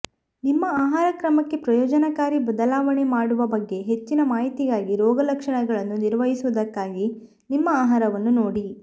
ನಿಮ್ಮ ಆಹಾರಕ್ರಮಕ್ಕೆ ಪ್ರಯೋಜನಕಾರಿ ಬದಲಾವಣೆ ಮಾಡುವ ಬಗ್ಗೆ ಹೆಚ್ಚಿನ ಮಾಹಿತಿಗಾಗಿ ರೋಗಲಕ್ಷಣಗಳನ್ನು ನಿರ್ವಹಿಸುವುದಕ್ಕಾಗಿ ನಿಮ್ಮ ಆಹಾರವನ್ನು ನೋಡಿ